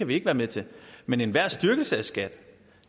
vi ikke være med til men enhver styrkelse af skat